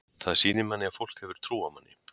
Það sýnir manni að fólk hefur trú á manni.